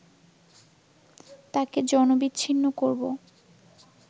তাকে জনবিচ্ছিন্ন করব